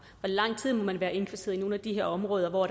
lang tid må man være indkvarteret i nogle af de her områder hvor